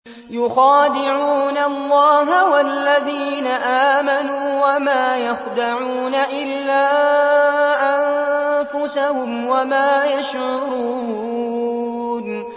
يُخَادِعُونَ اللَّهَ وَالَّذِينَ آمَنُوا وَمَا يَخْدَعُونَ إِلَّا أَنفُسَهُمْ وَمَا يَشْعُرُونَ